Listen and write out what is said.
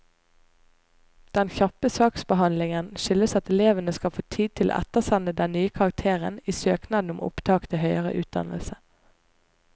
Den kjappe saksbehandlingen skyldes at elevene skal få tid til å ettersende den nye karakteren i søknaden om opptak til høyere utdannelse.